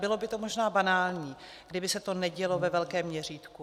Bylo by to možná banální, kdyby se to nedělo ve velkém měřítku.